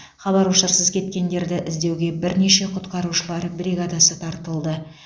хабар ошарсыз кеткендерді іздеуге бірнеше құтқарушылар бригадасы тартылды